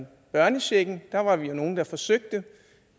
børnechecken var vi jo nogle der forsøgte og